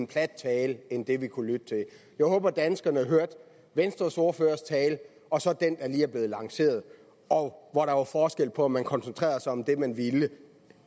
plat tale end den vi kunne lytte til jeg håber danskerne hørte venstres ordførers tale og så den der lige er blevet lanceret og hvor der var forskel på om man koncentrerede sig om det man ville